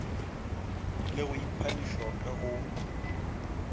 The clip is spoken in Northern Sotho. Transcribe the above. le go ipha lešoka go